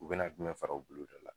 U bɛna jumɛn fara u bolodala?